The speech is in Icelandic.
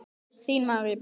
Þín María Björk.